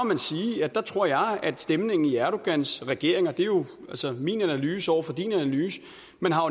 man sige at der tror jeg at stemningen i erdogans regering og det er jo min analyse over for din analyse